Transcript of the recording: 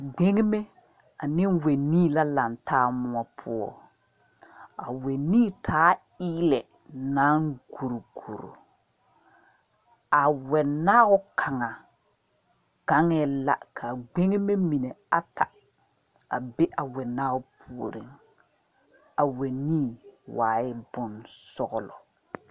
Gbeŋneme ane wɛnii la lantaa moɔ poɔ a wɛnii taa la eelɛ naŋ guri guri a wɛnaabo gaŋaɛɛ la ka gbeŋeme mine ata be a wɛnaao puoriŋ a wɛnii waa yɛ bonsɔglɔ.